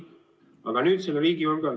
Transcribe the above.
Aga nüüd, riigi julgeolek.